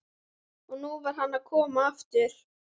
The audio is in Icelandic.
Og nú var hann að koma aftur!